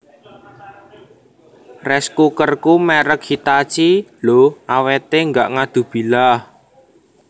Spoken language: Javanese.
Rice cookerku merk Hitachi lho awete gak ngadubilah